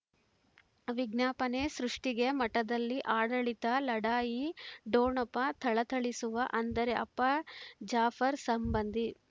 ವಿಜ್ಞಾಪನೆ ಸೃಷ್ಟಿಗೆ ಮಠದಲ್ಲಿ ಆಡಳಿತ ಲಢಾಯಿ ಡೊಣಪ ಥಳಥಳಿಸುವ ಅಂದರೆ ಅಪ್ಪ ಜಾಫರ್ ಸಂಬಂಧಿ